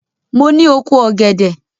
Mo ní oko ògèdè.